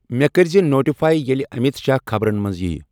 مےٚ کٔرۍ زِ نوٹِفاے ییٚلہِ امیت شاہ خبرَن منٛز ییہِ۔